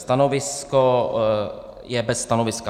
Stanovisko je - bez stanoviska.